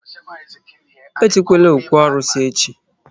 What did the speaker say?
E jekwala ókwú arụsị echi!